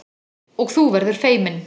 Og þú verður feiminn.